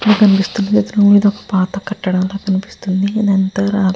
ఇక్కడ కనిపిస్తున్న చిత్రం లో ఇది ఒక పాత కట్టడం ల కనిపిస్తుంది ఇదంతా రా --